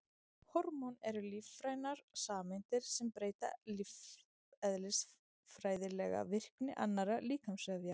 Hormón eru lífrænar sameindir sem breyta lífeðlisfræðilega virkni annarra líkamsvefja.